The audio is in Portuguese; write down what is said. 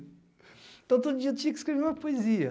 Então, todo dia eu tinha que escrever uma poesia.